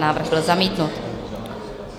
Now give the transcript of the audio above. Návrh byl zamítnut.